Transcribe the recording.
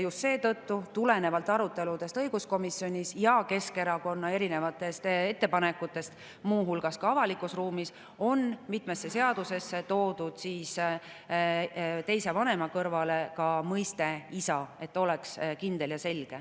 Just tulenevalt aruteludest õiguskomisjonis ja Keskerakonna erinevatest ettepanekutest, muu hulgas avalikus ruumis, on mitmesse seadusesse toodud teise vanema kõrvale ka mõiste "isa", et kõik oleks kindel ja selge.